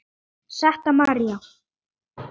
Setta María.